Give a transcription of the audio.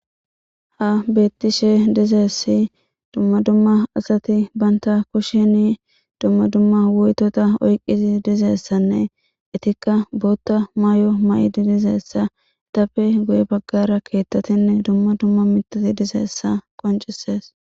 ha beettishe dizeessi dumma dumma asati banta kushsheni dumma dumma woytota oyqqizi dizeessanne itikka bootta maay7o ma7idi dizeessa tappe guye baggara keettatinne dumma dumma mitati dizeessa qoncisees